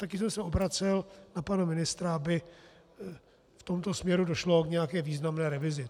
Také jsem se obracel na pana ministra, aby v tomto směru došlo k nějaké významné revizi.